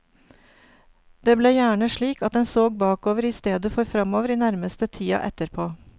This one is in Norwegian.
Det ble gjerne slik at en såg bakover i stedet for framover i nærmeste tida etterpå.